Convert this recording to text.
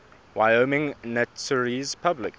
wyoming notaries public